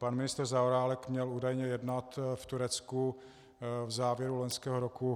Pan ministr Zaorálek měl údajně jednat v Turecku v závěru loňského roku.